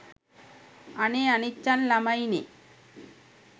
අනේ අනිච්චන්! ළමයිනේ